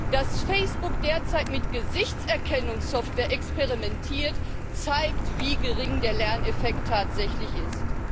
Dass Facebook derzeit mit Gesichtserkennungssoftware experimentiert, zeigt, wie gering der Lerneffekt tatsächlich ist.